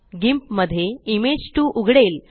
गिंप मध्ये इमेज 2 उघडेल